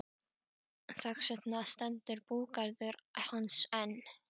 Þess vegna stendur búgarður hans enn.